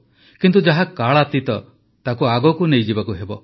କିନ୍ତୁ ଯାହା କାଳାତୀତ ତାକୁ ଆଗକୁ ନେଇଯିବାକୁ ହେବ